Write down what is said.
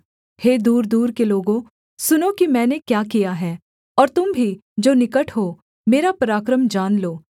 हे दूरदूर के लोगों सुनो कि मैंने क्या किया है और तुम भी जो निकट हो मेरा पराक्रम जान लो